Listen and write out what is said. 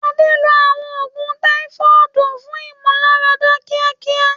Adé lo àwọn oògùn Táífọ́ọ̀dù fún ìmúláradá kíákíá.